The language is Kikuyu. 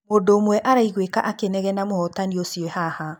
Mũndu ũmwe araiguĩka akĩnegena mũhotani ũcio ee haha.